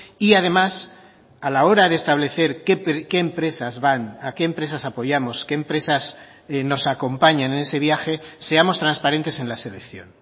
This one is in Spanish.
y además a la hora de establecer qué empresas van a qué empresas apoyamos qué empresas nos acompañan en ese viaje seamos transparentes en la selección